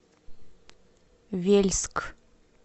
вельск